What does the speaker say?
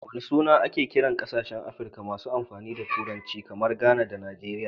Wana suna ake kiran kasashen Afrika masu amfani da Turanci, kamar Ghana da Nigeria?